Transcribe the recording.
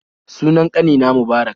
Sunan ƙanina Mubarak